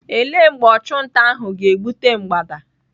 Ele mgbe ọchụnta ahụ ga-egbute mgbada?